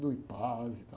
Do e tal.